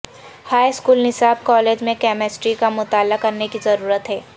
high school نصاب college میں chemistry کا مطالعہ کرنے کی ضرورت ہے